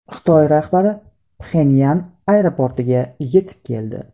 Xitoy rahbari Pxenyan aeroportiga yetib keldi.